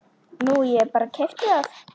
Nú ég bara. keypti það.